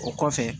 O kɔfɛ